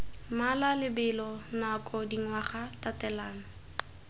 mmala lebelo nako dingwaga tatelano